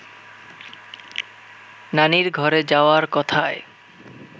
নানির ঘরে যাওয়ার কথায়